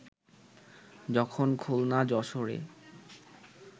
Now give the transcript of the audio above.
যখন খুলনা-যশোরে